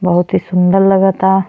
बहुत ही सुन्दर लगता।